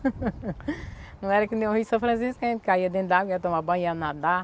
Não era que no Rio São Francisco a gente caía dentro da água, ia tomar banho, ia nadar.